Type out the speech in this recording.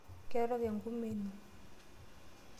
Kerok engumi ino.